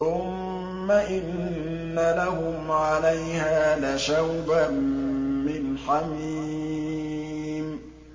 ثُمَّ إِنَّ لَهُمْ عَلَيْهَا لَشَوْبًا مِّنْ حَمِيمٍ